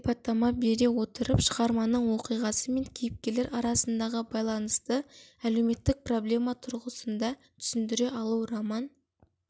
сипаттама бере отырып шығарманың оқиғасы мен кейіпкерлер арасындағы байланысты әлеуметтік проблема тұрғысында түсіндіре алу роман